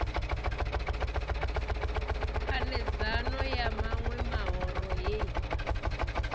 khanedzano ya maṋwe mahoro hei